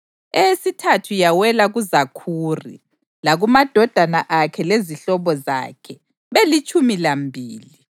eyesithathu yawela kuZakhuri, lakumadodana akhe lezihlobo zakhe, belitshumi lambili;